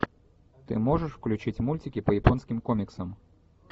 ты можешь включить мультики по японским комиксам